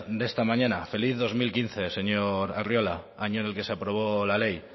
de esta mañana feliz dos mil quince señor arriola año en el que se aprobó la ley